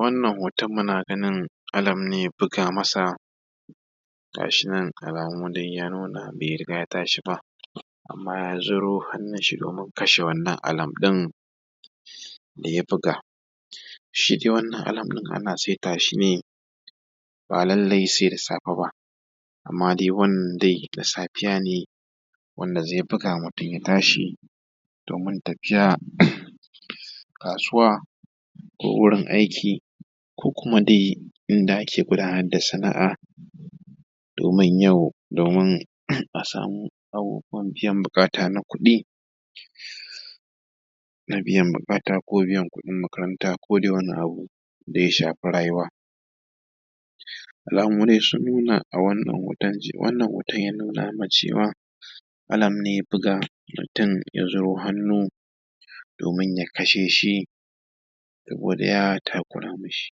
wannan hoton muna ganin alam ne ya buga ma sa gashi nan alamu dai ya nuna bai riga ya tashi ba amman ya ziro hannun shi domin kashe wannan alam ɗin da ya buga shi dai wannan alam ɗin ana saita shi ne ba lallai sai da safe ba amman dai wannan dai da safiya ne wanda zai buga mutum ya tashi domin tafiya kasuwa da wurin aiki ko kuma dai inda ake gudanar da sana’a domin yau domin a samu abubuwan biyan buƙata na kuɗi na biyan buƙata ko biyan kuɗin makaranta ko dai wani abu da ya shafi rayuwa alamu dai sun nuna a wannan hoton ya nuna cewa alam ne ya buga mutum ya ziro hannun domin ya kashe shi ko dai takura mishi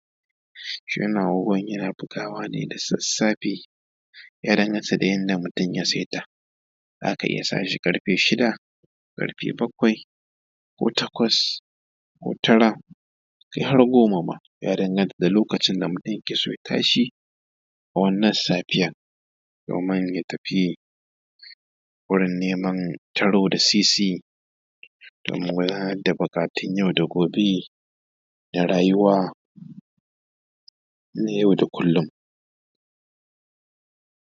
shi wannan agogon yana bugawa ne da sassafe ya danganta da yanda mutun ya saita za ka iya sa shi ƙarfe shida ƙarfe bakwai ko takwas tara kai har goma ma ya danganta da lokacin da mutum yake so ya tashi a wannan safiya amman ya tafi wurin neman taro da sisi domin gudanar da buƙatun yau da gobe da rayuwa na yau da kullum